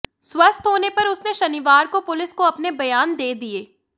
स्वस्थ होने पर उसने शनिवार को पुलिस को अपने बयान दे दिए